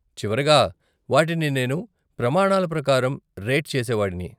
చివరగా, వాటిని నేను ప్రమాణాల ప్రకారం రేట్ చేసేవాడిని.